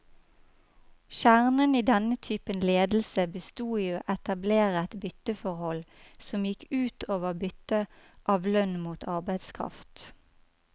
Kjernen i denne typen ledelse bestod i å etablere et bytteforhold, som gikk ut over byttet av lønn mot arbeidskraft.